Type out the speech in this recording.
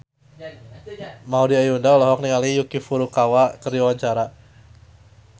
Maudy Ayunda olohok ningali Yuki Furukawa keur diwawancara